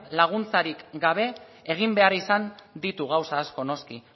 laguntzarik gabe egin behar izan ditu gauza asko noski